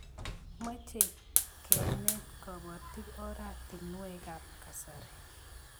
Mochei kenet kobotik oratinwekab kasari